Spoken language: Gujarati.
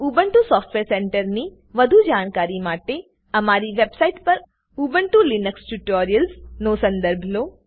ઉબુન્ટુ સોફ્ટવેર સેન્ટર ની માટે વધું જાણકારી માટે અમારી વેબ સાઈટ પર ઉબુન્ટુ લિનક્સ ટ્યુટોરિયલ્સ નો સંદર્ભ લો